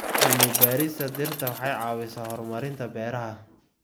Cilmi-baarista dhirta waxay caawisaa horumarinta beeraha.